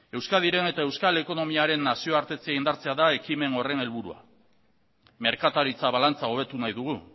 euskadiren eta euskal ekonomiaren nazioartetze indartzea da ekimen horren helburua merkataritza balantza hobetu nahi dugu